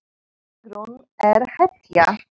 Sigrún er hetja!